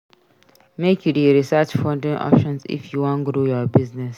Make you dey research funding options if you wan grow your business.